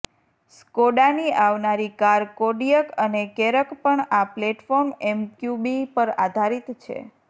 સ્કોડાની આવનારી car Kodiaq અને Karoq પણ આ પ્લેટફોર્મ એમક્યુબી પર આધારિત છે